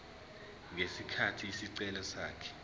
ngesikhathi isicelo sakhe